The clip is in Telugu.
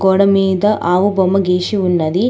గోడ మీద ఆవు బొమ్మ గీసి ఉన్నది.